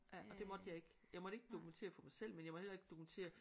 Ja og det måtte jeg ikke. Jeg måtte ikke dokumentere for mig selv men jeg må heller ikke dokumentere